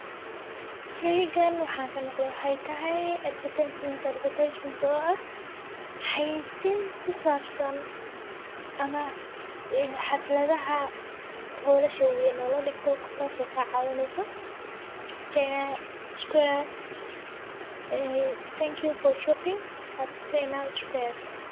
Sheygan waxaan kamaqle waxat tahay advertisement oo ah xayisin kuisabsan ama xafladaha howlasha waweyn oo ladigto tas oo kawineyso thank you for shopping at China square.